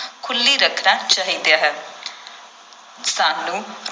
ਖੁੱਲ੍ਹੀ ਰੱਖਣਾ ਚਾਹੀਦਾ ਹੈ ਸਾਨੂੰ